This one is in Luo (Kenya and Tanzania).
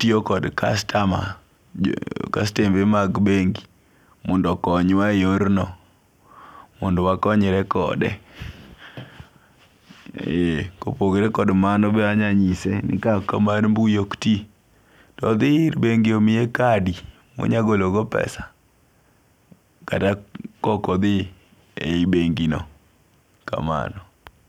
tiyo kod customer kastembe mag bengi mondo oknyawa e yorno,, mondo wakonyre kode ee kopogore kod mano be anyalo nyise ni ka ok kamano ka mar mbuyi okti to odhi ir bengi omiye kadi monyalo gologo pesa kata ka okothi e hiyi bengi'no kamano.